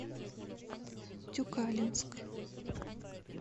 тюкалинск